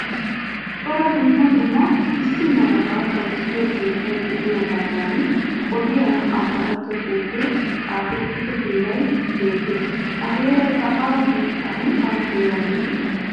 Cora dumma dumma issi malaba bayzziyoo keettay de'iyoogoodan odiyaa amaaratto xuufe xaafetiddo heeray beettes. Ha heeraykka awa biittan awa heeran de'ii?